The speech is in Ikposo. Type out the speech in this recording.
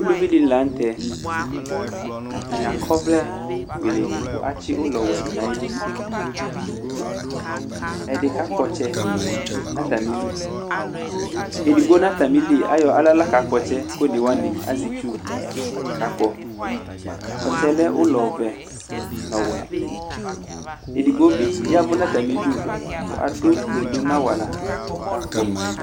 Ulvi dɩnɩ lanʋ tɛ Atanɩ akɔ ɔvlɛfuele kʋ atsɩ ʋlɔwɛ dʋ nʋ ayili Ɛdɩ kakpɔ ɔtsɛ nʋ atamɩlɩ Edigbo nʋ atamɩlɩ ayɔ aɣla la kakpɔ ɔtsɛ yɛ, kʋ onewanɩ azɛ itsu kakpɔ Ɔtsɛ yɛ lɛ ʋlɔvɛ nʋ ɔwɛ Edigbo bɩ ya ɛvʋ nʋ atamɩɩdʋ, kʋ adʋ dodo nʋ awala kʋ ɔkakpɔ